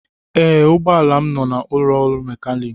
Ee, ụgbọ ala m nọ n'ụlọ ọrụ mekaniki